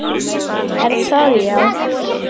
Er það, já?